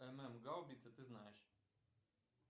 гаубица ты знаешь